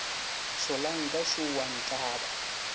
solanka šo o a ntlaba